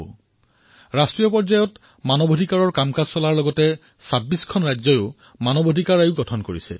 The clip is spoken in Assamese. আজি ৰাষ্ট্ৰীয় পৰ্যায়ত মানৱ অধিকাৰ কামৰ সৈতে ২৬খন ৰাজ্যতো মানৱ অধিকাৰ আয়োগ গঠন কৰা হৈছে